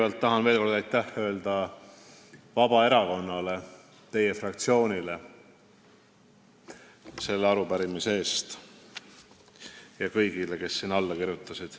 Ma tahan kõigepealt veel kord öelda aitäh Vabaerakonna fraktsioonile selle arupärimise eest, ja kõigile, kes sellele alla kirjutasid.